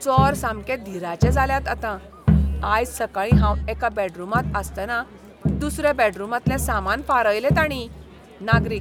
चोर सामके धीराचे जाल्यात आतां, आयज सकाळीं हांव एका बॅडरूमांत आसतना दुसऱ्या बॅडरूमांतले सामान फारायलें तांणीं. नागरीक